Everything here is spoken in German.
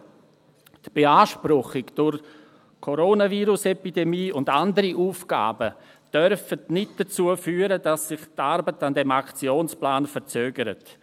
Aber die Beanspruchung durch die Coronavirus-Epidemie und andere Aufgaben dürfen nicht dazu führen, dass sich die Arbeit an diesem Aktionsplan verzögert.